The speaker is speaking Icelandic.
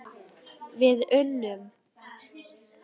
Við unnum!